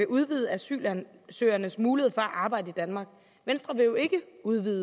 udvide asylansøgernes muligheder for at arbejde i danmark venstre vil jo ikke udvide